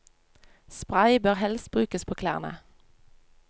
Spray bør helst brukes på klærne.